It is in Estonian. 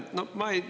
Aitäh!